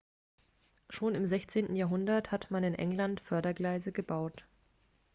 schon im 16. jahrhundert hat man in england fördergleise gebaut